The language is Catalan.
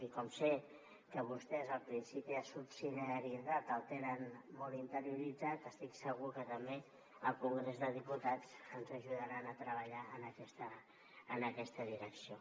i com sé que vostès el principi de subsidiarietat el tenen molt interioritzat estic segur que també al congrés dels diputats ens ajudaran a treballar en aquesta direcció